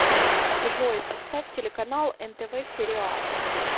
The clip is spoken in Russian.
джой поставь телеканал нтв сериал